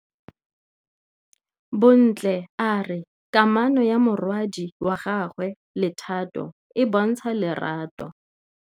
Bontle a re kamanô ya morwadi wa gagwe le Thato e bontsha lerato.